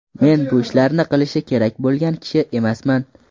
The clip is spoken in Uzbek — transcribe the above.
Men bu ishlarni qilishi kerak bo‘lgan kishi emasman.